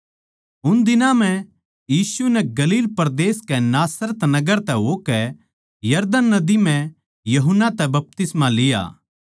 उन दिनां म्ह यीशु नै गलील परदेस कै नासरत नगर तै होकै यरदन नदी म्ह यूहन्ना तै बपतिस्मा लिया